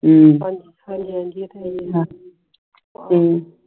ਹਮ